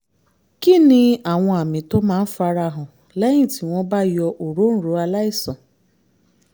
kí ni àwọn àmì tó máa ń fara hàn lẹ́yìn tí wọ́n bá yọ òróǹro aláìsàn?